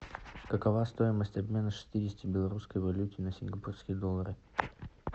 какова стоимость обмена шестидесяти белорусской валюты на сингапурские доллары